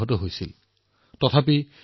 দেশত নতুন সামৰ্থৰো সৃষ্টি হৈছে